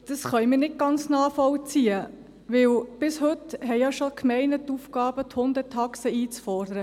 Das können wir nicht ganz nachvollziehen, denn bis heute haben ja schon die Gemeinden die Aufgabe, die Hundetaxen einzufordern.